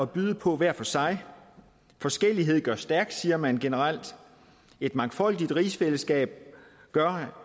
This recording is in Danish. byde på hver for sig forskellighed gør stærk siger man generelt et mangfoldigt rigsfællesskab gør